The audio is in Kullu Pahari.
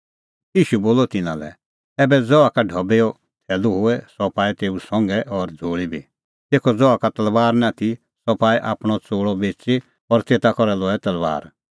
ईशू बोलअ तिन्नां लै ऐबै ज़हा का ढबैओ थैलू होए सह पाऐ तेऊ संघा और झ़ोल़ी बी तेखअ ज़हा का तलबार निं आथी सह पाऐ आपणअ च़ोल़अ बेच़ी और तेता करै लऐ तलबार